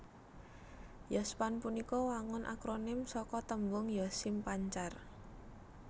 Yospan punika wangun akronim saka tembung Yosim Pancar